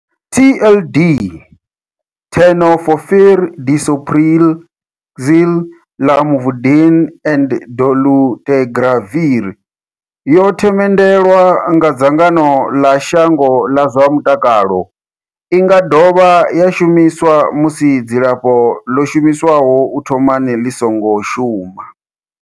TLD, Tenofovir disoproxil, Lamivudine and dolutegravir, yo themendelwa nga dzangano ḽa shango ḽa zwa mutakalo. I nga dovha ya shumiswa musi dzilafho ḽo shumiswaho u thomani ḽi songo shuma.